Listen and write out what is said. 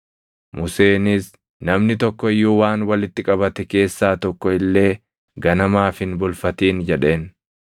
Museenis, “Namni tokko iyyuu waan walitti qabate keessaa tokko illee ganamaaf hin bulfatin” jedheen.